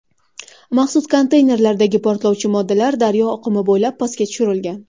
Maxsus konteynerlardagi portlovchi moddalar daryo oqimi bo‘ylab pastga tushirilgan.